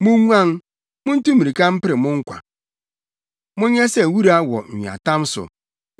Munguan! muntu mmirika mpere mo nkwa. Monyɛ sɛ wura wɔ nweatam so.